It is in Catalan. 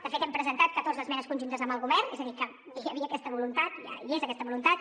de fet hem presentat catorze esmenes conjuntes amb el govern és a dir que hi havia aquesta voluntat hi és aquesta voluntat